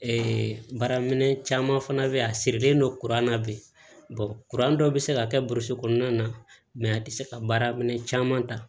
baara minɛn caman fana bɛ yen a sirilen don kuran na bi kuran dɔ bɛ se ka kɛ burusi kɔnɔna na a tɛ se ka baara minɛn caman ta